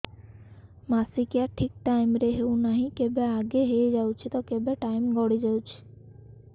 ମାସିକିଆ ଠିକ ଟାଇମ ରେ ହେଉନାହଁ କେବେ ଆଗେ ହେଇଯାଉଛି ତ କେବେ ଟାଇମ ଗଡି ଯାଉଛି